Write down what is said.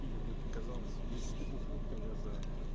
или мне показалось если ты бухнуть то я за